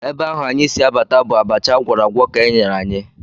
Ebe ahụ anyị si abata bụ abacha a gwọrọ agwọ ka e nyere anyị